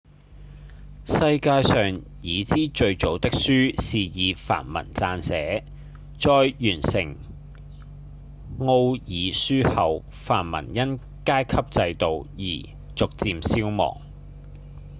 世界上已知最早的書是以梵文撰寫在完成奧義書後梵文因階級制度而逐漸消亡